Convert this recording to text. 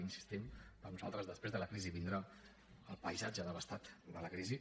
hi insistim per nosaltres després de la crisi vindrà el paisatge devastat de la crisi